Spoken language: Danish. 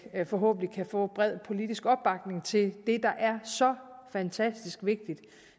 vi forhåbentlig kan få bred politisk opbakning til det der er så fantastisk vigtigt